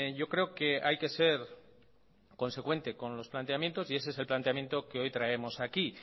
yo creo que hay que ser consecuente con los planteamientos y ese es el planteamiento que hoy traemos aquí